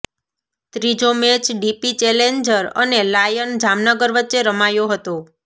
ત્રીજો match DP challenger અને lion Jamnagar વચ્ચે રમાયો હતો